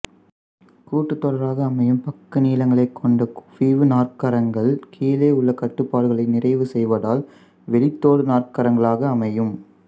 கூட்டுத் தொடராக அமையும் பக்க நீளங்களைக் கொண்ட குவிவு நாற்கரங்கள் கீழுள்ள கட்டுப்பாடுகளை நிறைவு செய்வதால் வெளிதொடு நாற்கரங்களாக அமையும்